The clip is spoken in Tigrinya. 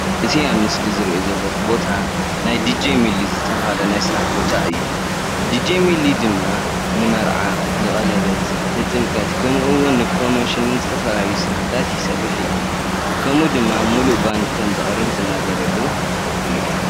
አዚ ኣብ ምስሊ ዝሪኦ ዘለኩ ቦታ ናይ ዲጀ ሚሊ ዝተብሃለ ናይ ስራሕ ቦታ አዩ ዲጀ ሚሊ ድማ ንመርዓ ንቀለበት ንጥምቀት ከመኡ አዉን ን ፕሮሞሽን ን ዝተፈላለዩ ስራሓትታት ይሰርሕ አዩ ከምኡ ድማ ሙሉአ ባንዲ ከም ዘቅርብ ዝናገረሉ አዩ።